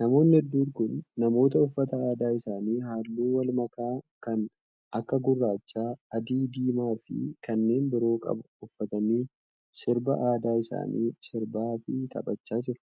Namoonni hedduun kun, namoota uffata aadaa isaanii haalluu walmakaa kan akka :gurraacha, adii diimaa fi kanneen biroo qabu uffatanii ,sirba aadaa isaanii sirbaa fi taphachaa jiru.